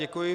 Děkuji.